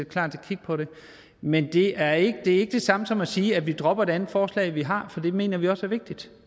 klar til at kigge på det men det er ikke det samme som at sige at vi dropper det andet forslag vi har for det mener vi også er vigtigt